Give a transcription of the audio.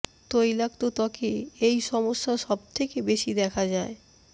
তৈলাক্ত ত্বকে এই সমস্যা সব থেকে বেশি দেখা যায়